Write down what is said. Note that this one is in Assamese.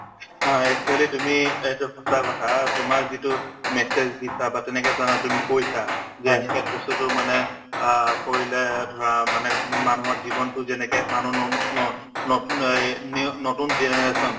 অ, actually তুমি এইটো সঁচা কথা তোমাৰ যিটো message দিছা বা তেনেকা ধৰণৰ তুমি কৈছা যে এনেকে বস্তুতো মানে আ কৰিলে ধৰা মানে মানুহৰ জীৱনতো যেনেকে মানুহ নন ন নতুন এই new নতুন generation